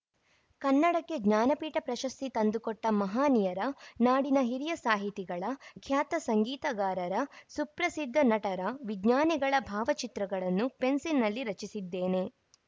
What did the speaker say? ಕನ್ನಡಕ್ಕೆ ಜ್ಞಾನಪೀಠ ಪ್ರಶಸ್ತಿ ತಂದುಕೊಟ್ಟಮಹನೀಯರ ನಾಡಿನ ಹಿರಿಯ ಸಾಹಿತಿಗಳ ಖ್ಯಾತ ಸಂಗೀತಗಾರರ ಸುಪ್ರಸಿದ್ಧ ನಟರ ವಿಜ್ಞಾನಿಗಳ ಭಾವಚಿತ್ರಗಳನ್ನು ಪೆನ್ಸಿಲ್‌ನಲ್ಲಿ ರಚಿಸಿದ್ದೇನೆ